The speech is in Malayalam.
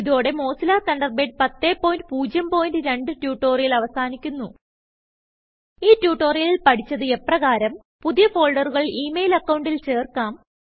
ഇതോടെ മോസില്ല തണ്ടർബേഡ് 1002ട്യുട്ടോറിയൽ അവസാനിക്കുന്നു ഈ ട്യൂട്ടോറിയലിൽ പഠിച്ചത് എപ്രകാരം160 പുതിയ ഫോൾഡറുകൾ ഇ മെയിൽ അക്കൌണ്ടിൽ ചേർക്കാം